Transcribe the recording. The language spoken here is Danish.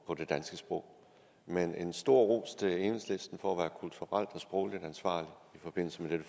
det danske sprog men en stor ros til enhedslisten for at være kulturelt og sprogligt ansvarlige i forbindelse med dette